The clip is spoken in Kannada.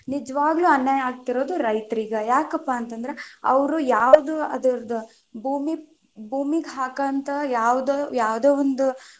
ನಿಜವಾಗ್ಲೂ ಅನ್ಯಾಯ ಆಗ್ತಿರೋದ ರೈತರಿಗ, ಯಾಕಪ್ಪಾ ಅಂತ ಅಂದ್ರ ಅವ್ರು ಯಾವ್ದು ಅದುರುದ್ ಭೂಮಿಗ ಹಾಕಂತ ಯಾವದ ಯಾವದೇ ಒಂದು.